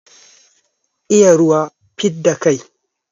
Iya ruwa, fidda kai.